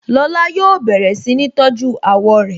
Lọ́la yóò bẹ̀rẹ̀ si ni tọ́jú àwọ̀ rẹ